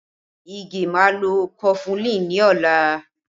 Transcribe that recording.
Ige máa lọ kọfulin ni ọla